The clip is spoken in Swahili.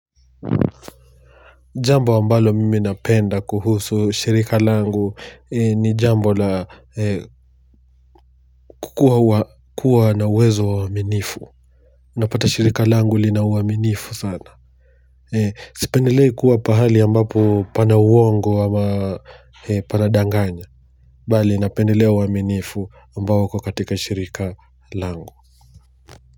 Jambo ambalo mimi napenda kuhusu shirika langu ni jambo la kukuwa na uwezo wa uaminifu. Napata shirika langu lina uaminifu sana. Sipendelei kuwa pahali ambapo pana uongo ama panadanganya. Bali napendelea uaminifu ambapo uko katika shirika langu.